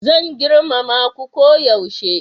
Zan girmama ku koyaushe